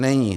Není.